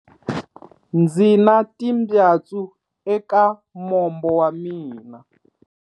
Ndzi na timbyatsu eka mombo wa mina.